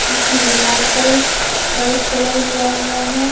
इसके दीवार पर व्हाइट कलर होवा हुआ है।